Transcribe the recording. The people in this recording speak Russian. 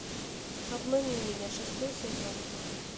обмани меня шестой сезон